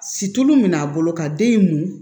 Situlu min a bolo ka den in mun